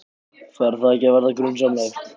Fer það ekki að verða grunsamlegt?